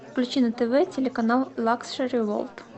включи на тв телеканал лакшери ворлд